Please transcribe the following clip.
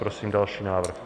Prosím další návrh.